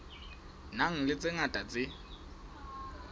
nang le tse ngata tse